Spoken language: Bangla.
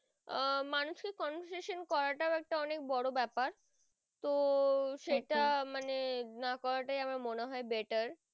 আহ conversation করা টা একটা অনেক বোরো ব্যাপার তো সেটা মানে না করা টাই আমার মনে হয় better